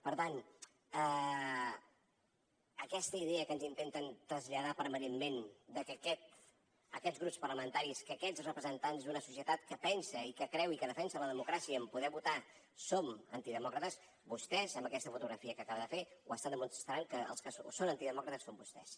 per tant aquesta idea que ens intenten traslladar permanentment de que aquests grups parlamentaris aquests representants d’una societat que pensa i que creu i que defensa la democràcia en poder votar som antidemòcrates vostès amb aquesta fotografia que acaba de fer ho estan demostrant que els que són antidemòcrates són vostès